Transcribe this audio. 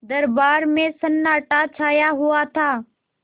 दरबार में सन्नाटा छाया हुआ था